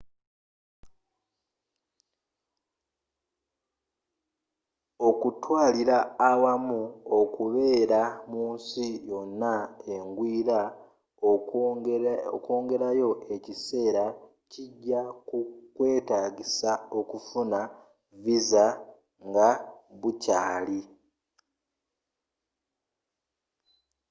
okutwalira awamu okubeera munsi yonna engwiira okwongerayo ekiseera kija kukwetagisa okufuna visa nga bukyaali